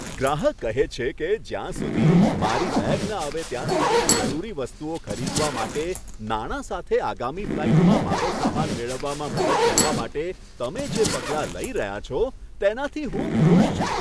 ગ્રાહક કહે છે કે, જ્યાં સુધી મારી બેગ ન આવે ત્યાં સુધી જરૂરી વસ્તુઓ ખરીદવા માટે નાણાં સાથે આગામી ફ્લાઇટમાં મારો સામાન મેળવવામાં મદદ કરવા માટે તમે જે પગલાં લઈ રહ્યા છો, તેનાથી હું ખુશ છું.